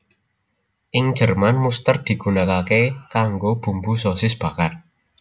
Ing Jerman muster digunakake kanggo bumbu sosis bakar